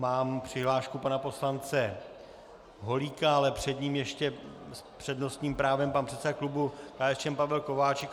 Mám přihlášku pana poslance Holíka, ale před ním ještě s přednostním právem pan předseda klubu KSČM Pavel Kováčik.